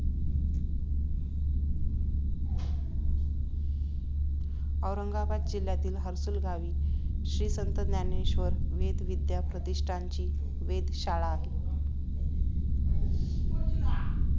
औरंगाबाद जिल्ह्यातील हर्सूल गावी श्री संत ज्ञानेश्वर वेदविद्या प्रतिष्ठान ची वेद शाळा आहे